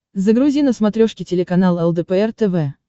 загрузи на смотрешке телеканал лдпр тв